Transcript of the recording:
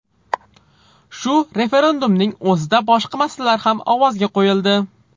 Shu referendumning o‘zida boshqa masalalar ham ovozga qo‘yildi.